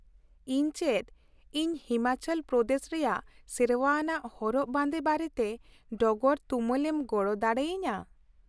ᱤᱧ ᱪᱮᱫ ᱤᱧ ᱦᱤᱢᱟᱪᱚᱞ ᱯᱨᱚᱫᱮᱥ ᱨᱮᱭᱟᱜ ᱥᱮᱨᱶᱟ ᱟᱱᱟᱜ ᱦᱚᱨᱚᱜ ᱵᱟᱸᱫᱮ ᱵᱟᱨᱮᱛᱮ ᱰᱚᱜᱚᱨ ᱛᱩᱢᱟᱹᱞ ᱮᱢ ᱜᱚᱲᱚ ᱫᱟᱲᱮ ᱟᱹᱧᱟᱹ ?